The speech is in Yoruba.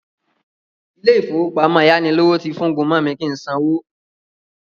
Àwọn ilé-ìfowópamọ́ ayánilówó ti fúngun mọ mi kí sanwó